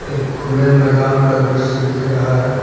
ये खुले मैदान का दृश्य दिख रहा है।